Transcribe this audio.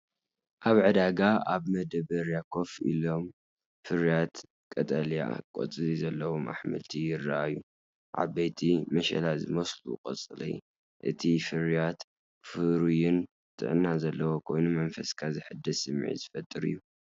ኣብ ዕዳጋ ኣብ መዳበርያ ኮፍ ኢሎም ፍሩያት ቀጠልያ ቆጽሊ ዘለዎም ኣሕምልቲ ይራኣዩ። ዓበይቲ፡ መሸላ ዝመስሉ ቆጽሊ፡እቲ ፍርያት ፍሩይን ጥዕና ዘለዎን ኮይኑ፡ መንፈስካ ዘሐድስ ስምዒት ዝፈጥርን እዩ፡፡